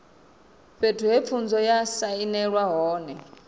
fhethu he khumbelo ya sainelwa hone